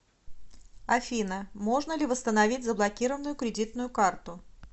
афина можно ли восстановить заблокированную кредитную карту